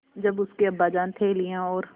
जब उसके अब्बाजान थैलियाँ और